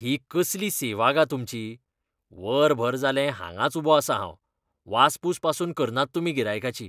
ही कसली सेवा गा तुमची? वरभर जालें हांगाच उबो आसा हांव. वासपूस पासून करनात तुमी गिरायकाची.